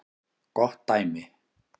Gott dæmi